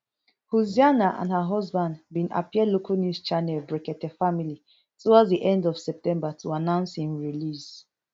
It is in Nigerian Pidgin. hussaina and her husband bin appear local news channel brekete family towards di end of september to announce im release